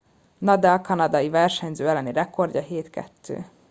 nadal kanadiai versenyző elleni rekordja 7 - 2